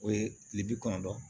O ye kile bi kɔnɔntɔn ye